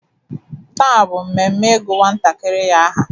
Taa bụ mmemme ịgụ nwantakịrị ya aha.